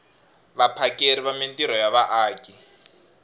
vaphakeri va mintirho ya vaaki